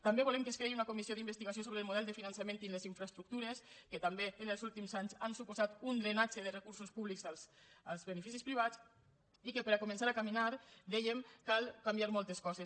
també volem que es creï una comissió d’investigació sobre el model de finançament i les infraestructures que també en els últims anys han suposat un drenatge de recursos públics als beneficis privats i que per començar a caminar dèiem cal canviar moltes coses